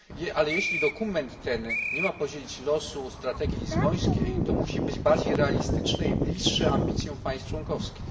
Ale jeśli dokument ten nie ma podzielić losu strategii lizbońskiej, to musi być on bardziej realistyczny i bliższy ambicjom państw członkowskich.